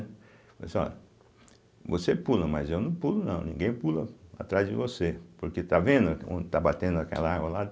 Falei assim, olha, você pula, mas eu não pulo não, ninguém pula atrás de você, porque está vendo onde está batendo aquela água lá?